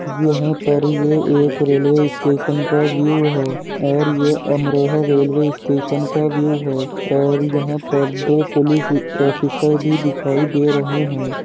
यहाँ पर ये एक रेल्वे स्टेशन का व्यू है और ये अमरोहा रेलवे स्टेशन का व्यू है और यहाँ पर दो पुलिस ऑफिसर भी दिखाई दे रहे है।